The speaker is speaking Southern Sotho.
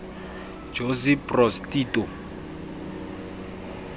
josip broz tito